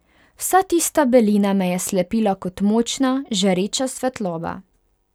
Vsa tista belina me je slepila kot močna, žareča svetloba.